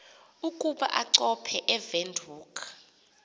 ukuba achophe ewindhoek